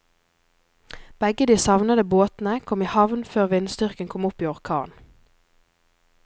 Begge de savnede båtene kom i havn før vindstyrken kom opp i orkan.